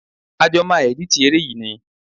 A jọ máa ẹ̀dítì eré yìí ni.